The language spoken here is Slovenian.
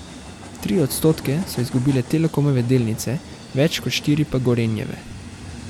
Tri odstotke so izgubile Telekomove delnice, več kot štiri pa Gorenjeve.